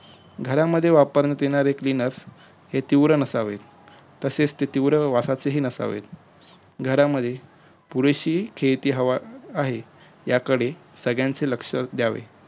घरात वापरण्यात येणारे cleaner हे तीव्र नसावे तसेच ते तीव्र वासाचे नसावेत घरामध्ये पुरेशी खेती हवा आहे याकडे सगळयांचे लक्ष ध्यावे